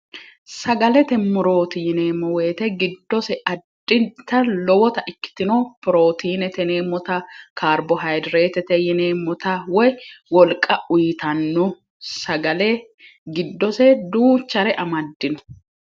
sagalete morootiineemmo woyite giddose addinta lowota ikkitino pirootiineteneemmota kaarbo hayidreetete yineemmota woy wolqa uyitanno sagale giddose duuchare amaddino